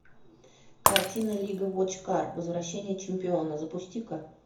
картина лига вотчкар возвращение чемпиона запусти ка